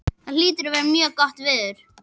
Það hlýtur að vera mjög gott veður.